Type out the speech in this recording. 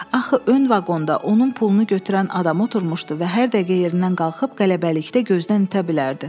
Axı ön vaqonda onun pulunu götürən adam oturmuşdu və hər dəqiqə yerindən qalxıb qələbəlikdə gözdən itə bilərdi.